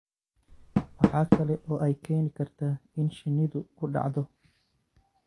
Waxa kale oo ay keeni kartaa in shinnidu ku dhacdo